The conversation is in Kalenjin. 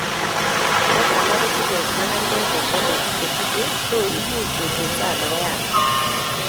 Plaques alak kotinye magatet ne tenden netuche, so imuch kotyolso anan koyatak